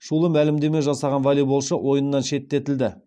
шулы мәлімдеме жасаған волейболшы ойыннан шеттетілді